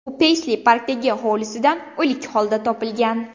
U Peysli-Parkdagi hovlisidan o‘lik holda topilgan.